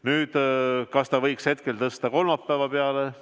Nüüd, kas selle võiks tõsta kolmapäeva peale?